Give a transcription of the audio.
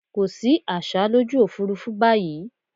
Kò sí àsá lójú òfúrúfú báyìí.